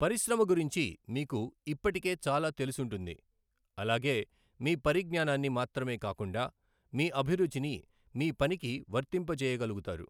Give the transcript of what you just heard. పరిశ్రమ గురించి మీకు ఇప్పటికే చాలా తెలుసుంటుంది, అలాగే మీ పరిజ్ఞానాన్ని మాత్రమే కాకుండా మీ అభిరుచిని మీ పనికి వర్తింపజేయగలుగుతారు.